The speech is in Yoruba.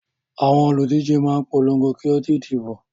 Àwọn olùdíje máa ń polongo kí ó di ìdìbò.